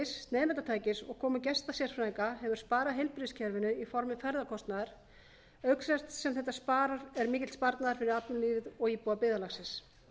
lyfjablöndunartækis nemendatækis og komu gestasérfræðinga hefur sparað heilbrigðiskerfinu í formi ferðakostnaðar auk þess sem þetta er mikill sparnaður fyrir atvinnulífið og íbúa byggðarlagsins